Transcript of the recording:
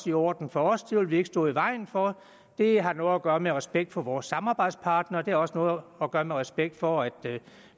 i orden for os det vil vi ikke stå i vejen for det har noget at gøre med at have respekt for vores samarbejdspartnere og det har også noget at gøre med respekt for at